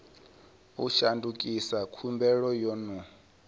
u shandukisa khumbelo yo no